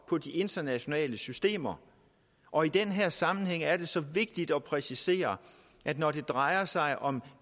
på de internationale systemer og i den her sammenhæng er det så vigtigt at præcisere at når det drejer sig om